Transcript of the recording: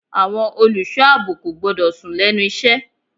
Àwọn olùṣọ́ àbò kò gbọ́dọ̀ sùn lẹ́nu iṣẹ́.